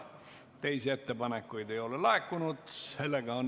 Teisi ettepanekuid ei ole laekunud.